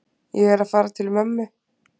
Ég er að fara til mömmu.